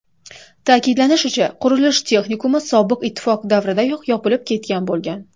Ta’kidlanishicha, qurilish texnikumi sobiq Ittifoq davridayoq yopilib ketgan bo‘lgan.